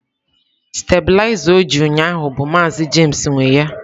Stabilizer o ji ụnyaahụ bụ maazi james nwe ya